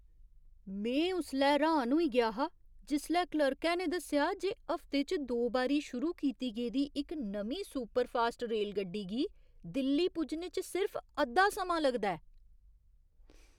में उसलै हैरान होई गेआ हा जिसलै क्लर्कै ने दस्सेआ जे हफ्ते च दो बारी शुरू कीती गेदी इक नमीं सुपरफास्ट रेलगड्डी गी दिल्ली पुज्जने च सिर्फ अद्धा समां लगदा ऐ!